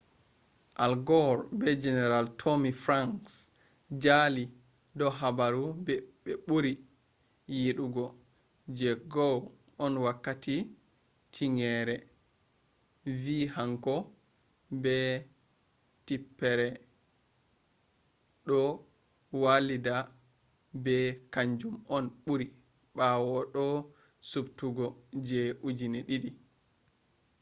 al gore be general tommy franks jali do habaru be buri yidugo je gore on wakkati tingere vi hanko be tipper do walida bo kanjum on buri bawo o do’i subtugo je 2000